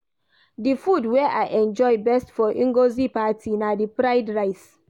The food wey I enjoy best for Ngozi party na the fried rice